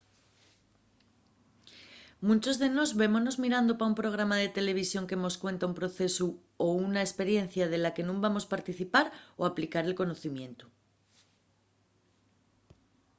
munchos de nós vémonos mirando pa un programa de televisión que mos cuenta un procesu o una esperiencia de la que nun vamos participar o aplicar el conocimientu